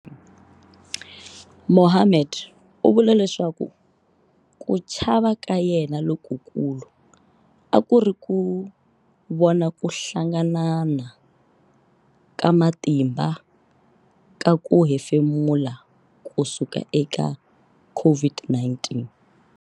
Mohammed u vula leswaku ku chava ka yena lokukulu a ku ri ku vona ku hlanganana ka matimba ka ku hefemula ku suka eka COVID-19.